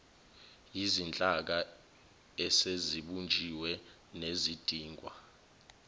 yizinhlaka esezibunjiwe nezidingwa